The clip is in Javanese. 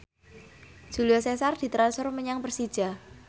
Julio Cesar ditransfer menyang Persija